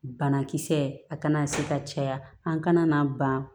Banakisɛ a kana se ka caya an kana n'a ban